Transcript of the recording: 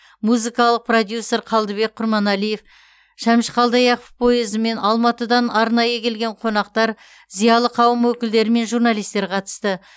музыкалық продюсер қалдыбек құрманалиев шәмші қалдаяқов пойызымен алматыдан арнайы келген қонақтар зиялы қауым өкілдері мен журналистер қатысты